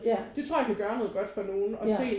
Ja ja